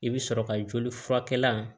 I bɛ sɔrɔ ka joli furakɛ